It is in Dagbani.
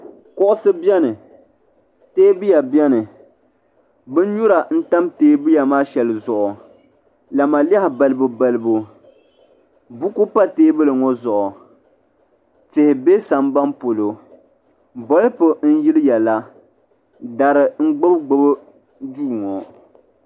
Kuɣusi beni teebuya beni binnyura n tam teebuya maa shɛŋa zuɣu lamalehi balibu balibu buku pa teebuli ŋɔ zuɣu tihi be samban polo polifu n yiliya la dari n gbibi gbibi duu ŋɔ.